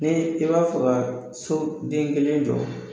Ni i b'a fɛ ka so den kelen jɔ